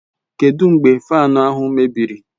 Kedụ mgbe Faanu ahụ mebiri?